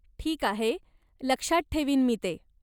ठीक आहे, लक्षात ठेवीन मी ते.